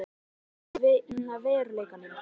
Málalokin urðu líka önnur í veruleikanum.